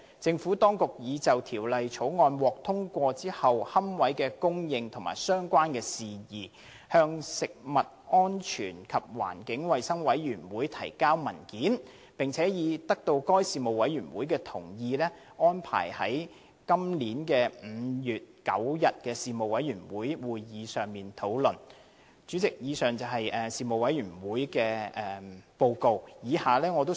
政府當局已就《條例草案》獲通過後的龕位供應及相關事宜，向食物安全及環境衞生事務委員會提交文件，並已得到該事務委員會同意，安排在2017年5月9日的會議上討論相關事宜。